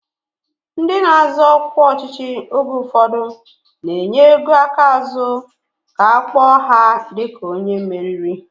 Ndị na-azọ ọkwa ọchịchị oge ụfọdụ na-enye ego aka azụ ka a kpọọ ha dịka onye meriri